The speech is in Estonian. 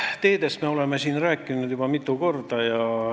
Teedest me oleme siin juba mitu korda rääkinud.